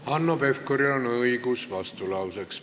Hanno Pevkuril on õigus vastulauseks.